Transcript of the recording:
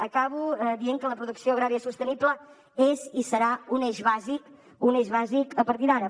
acabo dient que la producció agrària sostenible és i serà un eix bàsic un eix bàsic a partir d’ara